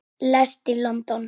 Hann lést í London.